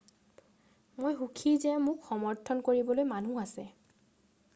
মই সুখী যে মোক সমৰ্থন কৰিবলৈ মানুহ আছে